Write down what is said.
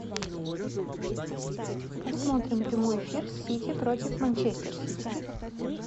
посмотрим прямой эфир сити против манчестер сити